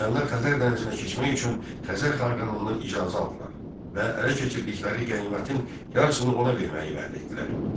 Slavyanlar Xəzər dənizinə keçmək üçün Xəzər xaqanından icazə aldılar və ələ keçirdikləri qənimətin yarısını ona verməyi vəd etdilər.